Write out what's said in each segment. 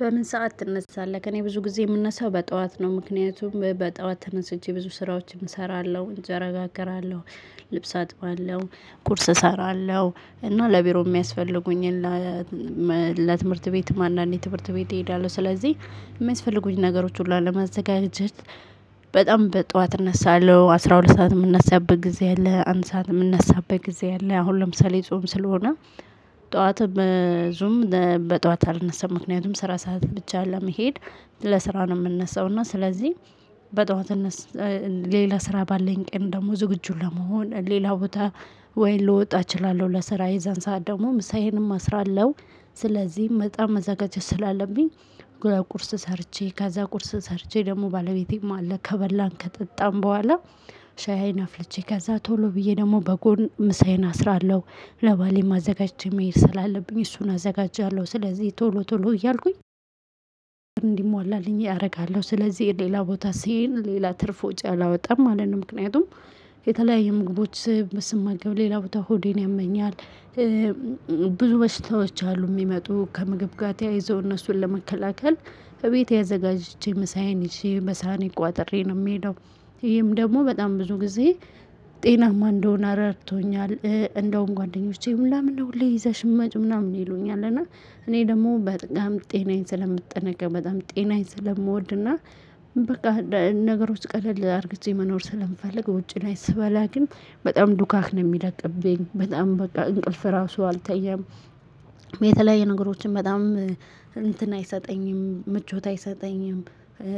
በምን ሰዓት ትነሳለህ? እኔ ብዙ ጊዜ ምነሳው በጠዋት ነው። ምክንያቱም በጠዋት ተነስቼ ብዙ ስራዎችን ሰራለሁ እንጀራ ጋግራለሁ ልብስ አጥባለሁ ቁርስ እሰራለሁ እና ለብሮ የሚያስፈልጉኝን ለትምህርት ቤት ማን አንዴ ትምህርት ቤት እሄዳለሁ። ስለዚህ የሚያስፈልጉኝ ነገሮች ሁሉ ለማዘጋጀት በጣም በጧት እነሳለሁ። አስራ ሁለት ሰዓት የምነሳበት ጊዜ አለ አንድ ሰዓት የምነሳበት ጊዜ አለ። አሁን ለምሳሌ ጾም ስለሆነ ጠዋትም በጠዋት አልነሳም። ምክንያቱም ስራ ሰዓት ብቻ ለመሄድ ለስራ ነው ምነሳው። እና ስለዚህ በጠዋት ሌላ ስራ ባለኝ ቀን ደግሞ ዝግጁ ለመሆን ሌላ ቦታ ወይ ልወጣ እችላለሁ። ለስራ የዞን ሰዓት ደግሞ ምሳዬንም አስራለሁ። ስለዚህ በጣም መዘጋጀት ስላለብኝ ቁርስ ሰርቼ ከዛ ቁርስ ሰርቼ ደግሞ ባለቤቴም አለ ከበላን ከጠጣን በኋላ። ሻይን አፍልቼ ከዛ ቶሎ ብዬ ደግሞ በጎን ምሳዬን አስራለሁ ለባሌም አዘጋጅቼ መሄድ ስላለብኝ እሱን አዘጋጃለሁ። ስለዚህ ቶሎ ቶሎ እያልኩኝ እንዲሟላልኝ አረጋለሁ። ስለዚህ ሌላ ቦታ ስሄድ ሌላ ትርፍ ወጭ አላወጣም ማለት ነው። ምክንያቱም የተለያዩ ምግቦች ስማገብ ሌላ ቦታ ሆዴን ያመኛል። ብዙ በሽታዎች አሉ ሚመጡ ከምግብ ጋ ተያይዞ እነሱን ለመከላከል እቤቴ አዘጋጅቼ ምሳዬን ይዤ በሳይኔ ቋጥሬ ነው ምሄደው። ይሄም ደግሞ በጣም ብዙ ጊዜ ጤናማ እንድሆን ረድቶኛል። እንደውም ጓደኞቼ ለምነው ሁሌ ይዘሽ ምመጭው ምናምን ይሉኛል። እና እኔ ደግሞ በጣም ጤናዬን ስለምጠነቀቅ በጣም ጤናዬን ስለምወድና። በቃ ነገሮች ቀለል አርግቼ መኖር ስለምፈልግ ውጪ ላይ ስበላ ግን በጣም ዱካክ ነው ምለቅብኝ በጣም በቃ እንቅልፍ ራሱ አልተኛም። በተለያይ ነገሮችን በጣም እንትን አይሰጠኝም ምቾት አይሰጠኝም።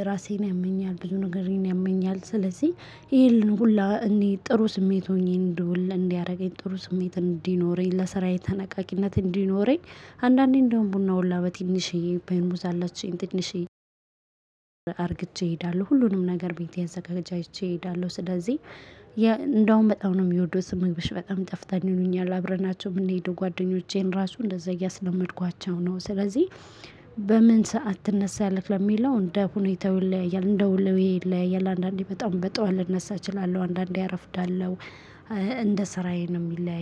ራሴን ያመኛል ብዙ ነገሬን ያመኛል። ስለዚህ ይሄን ሁለ እንድ ጥሩ ስሜት ሆኜ እንድውል እንዲያረገኝ ጥሩ ስሜት እንዲኖረኝ ለስራዬ ተነቃቂነት እንዲኖረኝ። አንዳንዴ እንደውም ቡና ሁላ በትንሽዬ ፌሪሙዝ አላችኝ ትንሽዬ አርግቼ እሄዳለሁ። ሁሉንም ነገር ቤት አዛጋጀጅቼ እሄዳለሁ። ስለዚህ እንደውም በጣም ነው ሚወዱት ስመኛውሽ በጣም ይጣፍጣል ይሉኛል አብረናቸው የምንሄደው ጓደኞቼን ራሱ እንደዛ እያስለመድኳቸው ነው። ስለዚህ በምን ሰዓት ትነሳለህ? ለሚለው እንደ ሁኔታ ይለያያል እንደ ሁሌ ይለያያል። አንዳንዴ በጣም በጣም ጥዋት ልነሳ እችላለሁ አንዳንዴ አረፍዳለው። እንደ ስራዬ ነው ሚለያይ